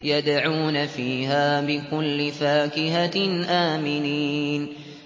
يَدْعُونَ فِيهَا بِكُلِّ فَاكِهَةٍ آمِنِينَ